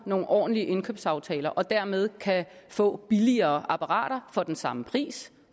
nogle ordentlige indkøbsaftaler og dermed kan få billigere apparater for den samme pris